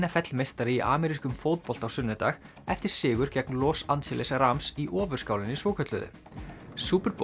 f l meistari í amerískum fótbolta á sunnudag eftir sigur gegn Los Angeles í Ofurskálinni svokölluðu